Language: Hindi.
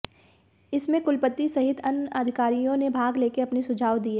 इस में कुलपति सहित अन्य अधिकारियों ने भाग लेकर अपने सुझाव दिए